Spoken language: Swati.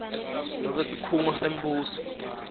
nobe sikhungo sembuso